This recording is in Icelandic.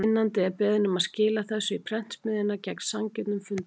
Finnandi er beðinn um að skila þessu í prentsmiðjuna, gegn sanngjörnum fundarlaunum.